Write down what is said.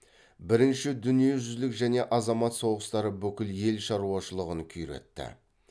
бірінші дүниежүзілік және азамат соғыстары бүкіл ел шаруашылығын күйретті